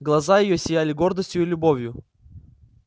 глаза её сияли гордостью и любовью